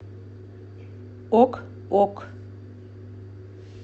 ок ок